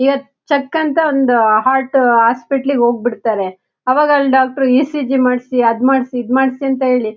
ಇವಾಗ್ ಚೆಕ್ ಅಂತ ಒಂದ್ ಹಾರ್ಟ್ ಹಾಸ್ಪಿಟಲ್ ಗೆ ಹೋಗ್ಬಿಡ್ತಾರೆ ಅವಾಗ ಅಲ್ ಡಾಕ್ಟರ್ ಈ ಸಿ ಜಿ ಮಾಡ್ಸಿ ಅದ್ ಮಾಡ್ಸಿ ಈದ್ ಮಾಡ್ಸಿ ಅಂತ ಹೇಳಿ.